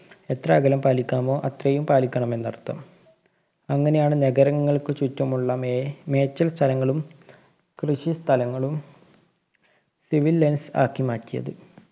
എത്ര അകലം പാലിക്കണമോ അത്രയും അകലം പാലിക്കണമെന്നര്‍ത്ഥം. അങ്ങിനെയാണ് നഗരങ്ങള്‍ക്ക് ചുറ്റുമുള്ള മേ~ മേച്ചില്‍ സ്ഥലങ്ങളും കൃഷി സ്ഥലങ്ങളും civil lines ആക്കി മാറ്റിയത്.